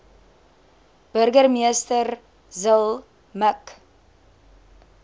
burgemeester zille mik